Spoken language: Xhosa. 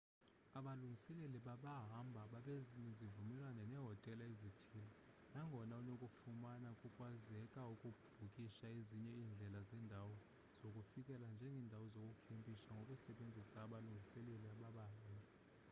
abalungiseleli babahambi babanezivumelwano nehotela ezithile nagona unokufumana kukwazeka ukubhukisha ezinye indlela zendawo zokufikela njengendawo zokukhempisha ngokusebenzisa abalungiseleli babahambi